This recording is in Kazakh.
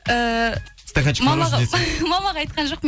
ііі мамаға мамаға айтқан жоқпын